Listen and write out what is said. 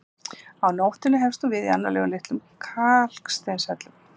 Á nóttunni hefst hún við innarlega í litlum kalksteinshellum.